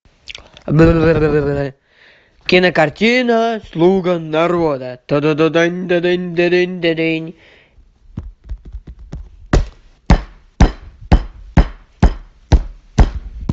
кинокартина слуга народа